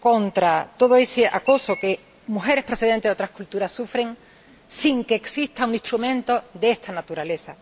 contra todo ese acoso que mujeres procedentes de otras culturas sufren sin que exista un instrumento de esta naturaleza.